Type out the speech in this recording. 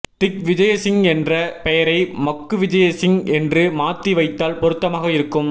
திக்விஜயசிங் என்ற பெயரை மக்குவிஜயசிங் என்று மாத்தி வைத்தால் பொருத்தமாக இருக்கும்